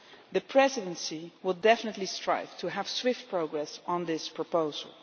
The Presidency will definitely strive to have swift progress on this proposal.